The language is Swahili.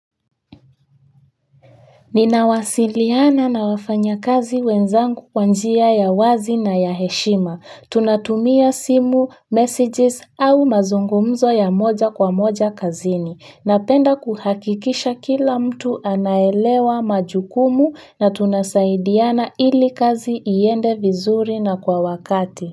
Ninawasiliana na wafanyakazi wenzangu kwa njia ya wazi na ya heshima. Tunatumia simu, messages au mazungumzo ya moja kwa moja kazini. Napenda kuhakikisha kila mtu anaelewa majukumu na tunasaidiana ili kazi iende vizuri na kwa wakati.